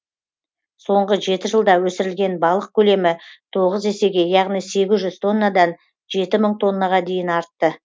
соңғы жеті жылда өсірілген балық көлемі тоғыз есеге яғни егіз жүз тоннадан жеті мың тоннаға дейін артты